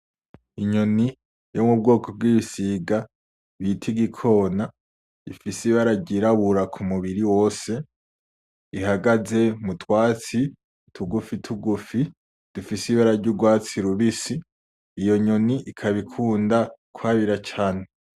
Inyoni yo mu bwoko bw’igisiga bita igikona rifise ibara ryirabura k’umubiri wose, ihagaze mu twatsi tugufi tugufi dufise ibara ry’urwatsi rubisi. Iyo nyoni ikaba ikunda kwabira cane